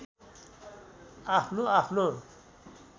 आफ्नो आफ्नो